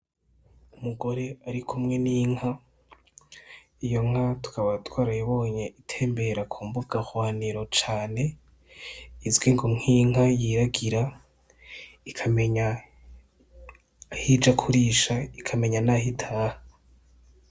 Umugore arikumwe n' inka iyo nka tukaba twarayibonye itembera kumbugahwaniro cane izwi ngo nk'inka yiragira ikamenya ahija kurisha, ikamenya naho itaha.